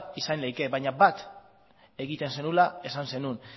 izan liteke baina bat egiten zenuela esan zenuen